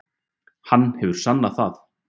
Hann hefur sannað það.